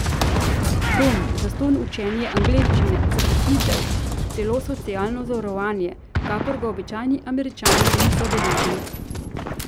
Dom, zastonj učenje angleščine, zaposlitev, celo socialno zavarovanje, kakor ga običajni Američani niso deležni.